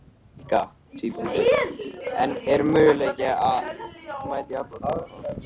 Helga: En er möguleiki að mæta í alla tímana?